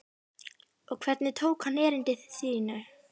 Og hvernig tók hann erindi þínu?